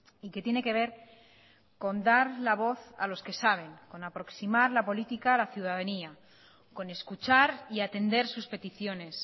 y que tiene que ver con dar la voz a los que saben con aproximar la política a la ciudadanía con escuchar y atender sus peticiones